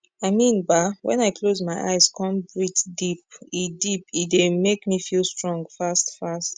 i mean bah wen i close my eyes con breathe deep e deep e dey make me feel strong fast fast